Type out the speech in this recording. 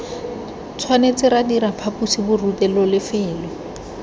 tshwanetse ra dira phaposiborutelo lefelo